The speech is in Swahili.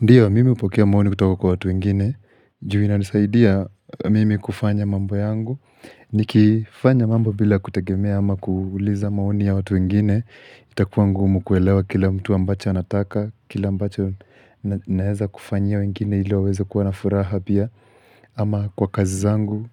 Ndiyo, mimi hupokea maoni kutoka kwa watu wengine, ju inanisaidia mimi kufanya mambo yangu. Nikifanya mambo bila kutegemea ama kuuliza maoni ya watu wengine, itakuwa ngumu kuelewa kila mtu ambacho anataka, naeza kufanyia wengine ili waweze kuwa na furaha pia. Ama kwa kazi zangu,